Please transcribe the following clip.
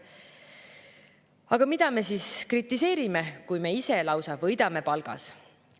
Aga mida me siis kritiseerime, kui me ise lausa võidame palgas?